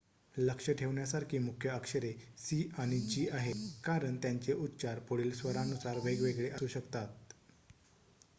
लक्ष ठेवण्यासारखी मुख्य अक्षरे सी आणि जी आहेत कारण त्यांचे उच्चार पुढील स्वरानुसार वेगवेगळे असू शकतात